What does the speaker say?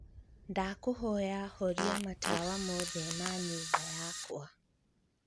ndakūhoya horia matawa mothe ma nyūmba yakwa